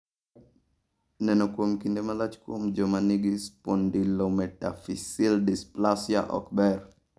Neno kuom kinde malach kuom joma nigi spondylometaphyseal dysplasia ok ber.